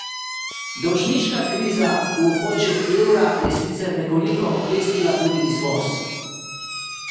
Dolžniška kriza v območju evra je sicer nekoliko oklestila tudi izvoz.